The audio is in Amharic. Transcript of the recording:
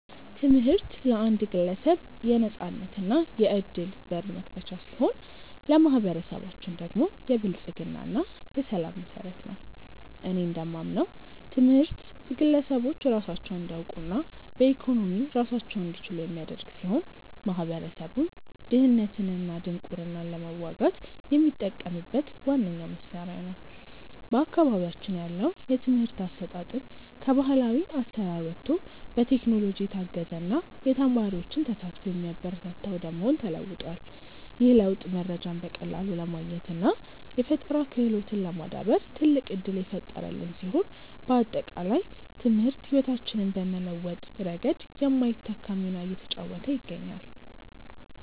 ትምህርት ለአንድ ግለሰብ የነፃነትና የዕድል በር መክፈቻ ሲሆን፣ ለማኅበረሰባችን ደግሞ የብልጽግና እና የሰላም መሠረት ነው። እኔ እንደማምነው ትምህርት ግለሰቦች ራሳቸውን እንዲያውቁና በኢኮኖሚ ራሳቸውን እንዲችሉ የሚያደርግ ሲሆን፣ ማኅበረሰቡም ድህነትንና ድንቁርናን ለመዋጋት የሚጠቀምበት ዋነኛው መሣሪያ ነው። በአካባቢያችን ያለው የትምህርት አሰጣጥም ከባሕላዊ አሠራር ወጥቶ በቴክኖሎጂ የታገዘና የተማሪዎችን ተሳትፎ የሚያበረታታ ወደ መሆን ተለውጧል። ይህ ለውጥ መረጃን በቀላሉ ለማግኘትና የፈጠራ ክህሎትን ለማዳበር ትልቅ ዕድል የፈጠረልን ሲሆን፣ ባጠቃላይ ትምህርት ሕይወታችንን በመለወጥ ረገድ የማይተካ ሚና እየተጫወተ ይገኛል።